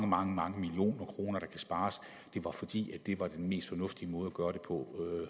mange mange millioner kroner det var fordi det var den mest fornuftige måde at gøre det på